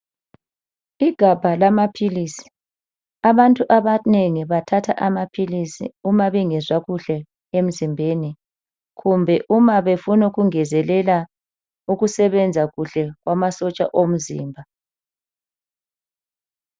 Igabha lamaphilisi abantu abanengi bathatha amaphilisi uma bengezwa kuhle emzimbeni kumbe uma befunukungezelela ukusebenza kuhle kwamasotsha omzimba.